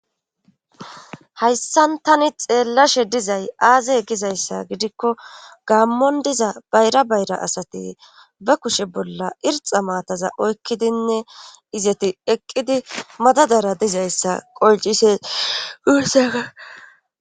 hayssan tani xeellashe dizay aaze gizayssa gidikko gaammon diza bayra bayra asati ba kushe bolla irxa maataza oykkidinne izeti eqqidi madadara dizayssa qolcise usega